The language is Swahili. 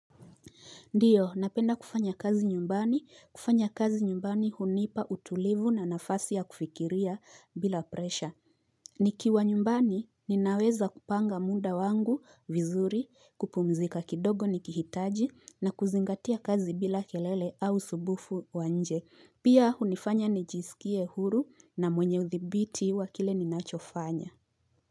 Ndiyo, napenda kufanya kazi nyumbani, kufanya kazi nyumbani hunipa utulivu na nafasi ya kufikiria bila presha. Nikiwa nyumbani, ninaweza kupanga muda wangu vizuri, kupumzika kidogo nikihitaji na kuzingatia kazi bila kelele au usumbufu wa nje. Pia hunifanya nijisikie huru na mwenye uthibiti wa ile ninachofanya.